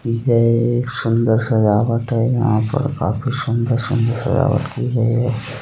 यह सुंदर सजावट है। यहाँ पर काफी सुंदर सुंदर सजावट की गई है।